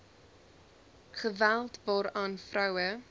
geweld waaraan vroue